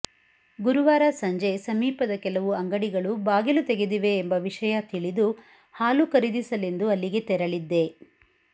ಗುರುವಾರ ಸಂಜೆ ಸಮೀಪದ ಕೆಲವು ಅಂಗಡಿಗಳು ಬಾಗಿಲು ತೆಗೆದಿವೆ ಎಂಬ ವಿಷಯ ತಿಳಿದು ಹಾಲು ಖರೀದಿಸಲೆಂದು ಅಲ್ಲಿಗೆ ತೆರಳಿದ್ದೆ